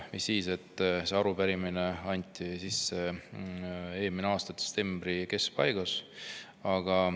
Mis siis, et see arupärimine anti sisse eelmise aasta detsembri keskpaigas.